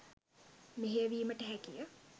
මෙහෙයවීමට හැකිය.